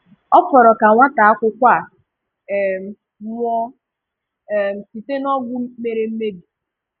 Ọ fọrọ ka nwátaakwụkwọ a um nwụọ um site n’ọgwụ mere mmebi.